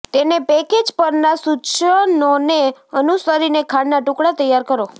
તેને પેકેજ પરના સૂચનોને અનુસરીને ખાંડના ટુકડા તૈયાર કરો